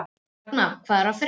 Ragna, hvað er að frétta?